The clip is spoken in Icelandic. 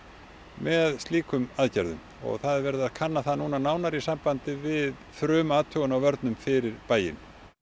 með slíkum aðgerðum það er verið að kanna það núna nánar í sambandi við frumathugun á vörnum fyrir bæinn